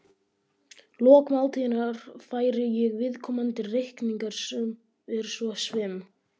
lok máltíðar færi ég viðkomandi reikning sem er svo svim